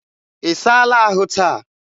ị saala ahụ taa?